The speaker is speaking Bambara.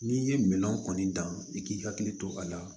N'i ye minɛnw kɔni dan i k'i hakili to a la